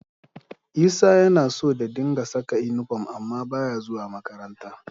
Isa yana so da dinga saka inifom amma ba ya zuwa makaranta